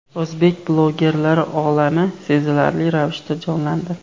O‘zbek bloggerlari olami sezilarli ravishda jonlandi.